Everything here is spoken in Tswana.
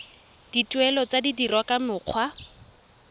dituelo di dirwa ka mokgwa